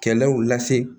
Kɛlɛw lase